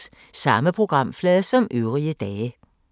Samme programflade som øvrige dage